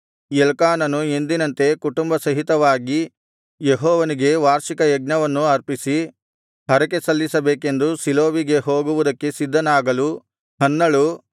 ಎಲ್ಕಾನನು ಎಂದಿನಂತೆ ಕುಟುಂಬ ಸಹಿತವಾಗಿ ಯೆಹೋವನಿಗೆ ವಾರ್ಷಿಕಯಜ್ಞವನ್ನು ಅರ್ಪಿಸಿ ಹರಕೆಸಲ್ಲಿಸಬೇಕೆಂದು ಶೀಲೋವಿಗೆ ಹೋಗುವುದಕ್ಕೆ ಸಿದ್ಧನಾಗಲು ಹನ್ನಳು